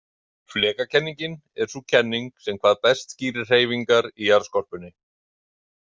Flekakenningin er sú kenning sem hvað best skýrir hreyfingar í jarðskorpunni.